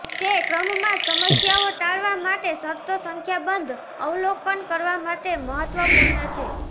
તે ક્રમમાં સમસ્યાઓ ટાળવા માટે શરતો સંખ્યાબંધ અવલોકન કરવા માટે મહત્વપૂર્ણ છે